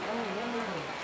A qardaş, nə gəlir.